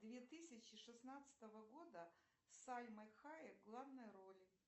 две тысячи шестнадцатого года с сальмой хайек в главной роли